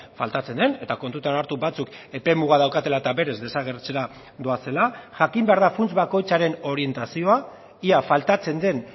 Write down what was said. faltatzen den eta kontutan hartu batzuk epemuga daukatela eta berez desagertzera doazela jakin behar da funts bakoitzaren orientazioa ia faltatzen den